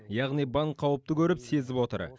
яғни банк қауіпті көріп сезіп отыр